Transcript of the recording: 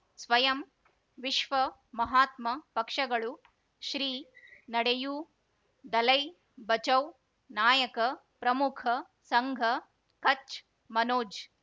ಸ್ವಯಂ ವಿಶ್ವ ಮಹಾತ್ಮ ಪಕ್ಷಗಳು ಶ್ರೀ ನಡೆಯೂ ದಲೈ ಬಚೌ ನಾಯಕ ಪ್ರಮುಖ ಸಂಘ ಕಚ್ ಮನೋಜ್